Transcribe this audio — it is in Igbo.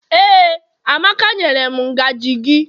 Ee, amaka nyere m ngaji gi.